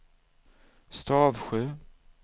Stavsjö